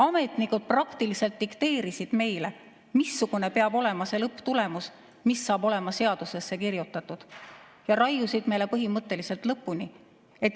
Ametnikud praktiliselt dikteerisid meile, missugune peab olema lõpptulemus, mis saab olema seadusesse kirjutatud, ja raiusid meile põhimõtteliselt lõpuni.